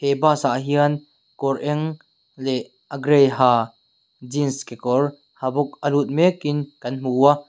he bas ah hian kawr eng leh a gray ha jeans kekawr ha bawk a lut mekin kan hmu a.